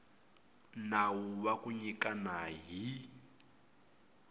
nawu wa ku nyikana hi